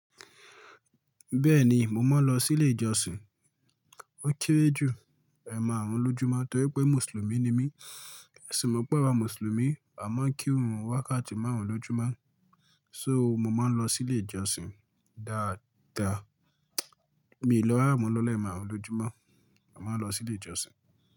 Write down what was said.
Bẹ́ẹ̀ni, mo máa ń lọ sí ilé ìjọsìn. Ó kéré jù ẹ̀maàrún lójúmọ́ torí pé Mùsùlùmí ni mí. Ẹ sì mọ̀ pé àwa Mùsùlùmí a máa ń kírun wákàtí márùn-ún lójúmọ́. So mo máa ń lọ sí ilé ìjọsìn dáadáa. Mi ò lọ rara mo lò ni ẹ̀maàrún lójúmọ́, a máa ń lọ sí ilé ìjọsìn.